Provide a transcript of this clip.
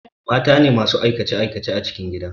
Matane masu aikace aikace a cikin gida